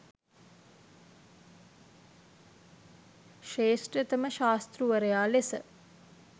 ශ්‍රේෂ්ඨතම ශාස්තෘවරයා ලෙස